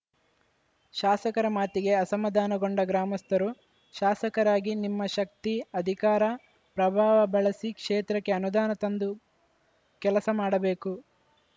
ಶಾಸಕರ ಮಾತಿಗೆ ಅಸಮಾಧಾನಗೊಂಡ ಗ್ರಾಮಸ್ಥರು ಶಾಸಕರಾಗಿ ನಿಮ್ಮ ಶಕ್ತಿ ಅಧಿಕಾರ ಪ್ರಭಾವ ಬಳಸಿ ಕ್ಷೇತ್ರಕ್ಕೆ ಅನುದಾನ ತಂದು ಕೆಲಸ ಮಾಡಬೇಕು